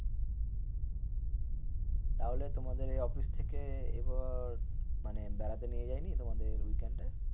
তাহলে তোমাদের অফিস থেকে এবার মানে বেড়াতে নিয়ে যায়নি? তোমাদের weekend